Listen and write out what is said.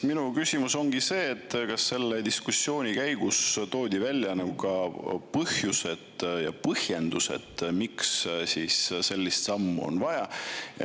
Minu küsimus ongi see, kas selle diskussiooni käigus toodi välja põhjused ja põhjendused, miks sellist sammu on vaja.